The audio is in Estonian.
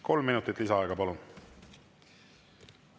Kolm minutit lisaaega, palun!